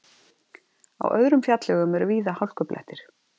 Á öðrum fjallvegum eru víða hálkublettir